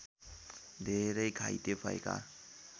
धेरै घाइते भएका